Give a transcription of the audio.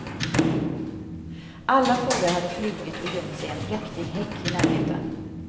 Alla fåglar hade flugit och gömt sig i en präktig häck i närheten.